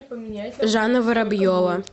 жанна воробьева